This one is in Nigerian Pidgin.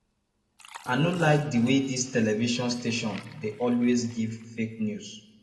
i no like the way dis television station dey always give fake news